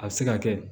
A bɛ se ka kɛ